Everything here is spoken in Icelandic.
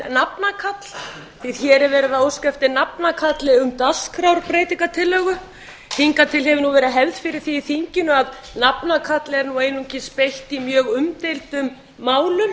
nafnakalli því hér er verið að óska eftir nafnakalli um dagskrárbreytingartillögu hingað til hefð nú verið hefð fyrir því í þinginu að nafnakalli er nú einungis beitt í mjög umdeildum málum